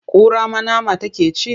Kura ma nama take ci?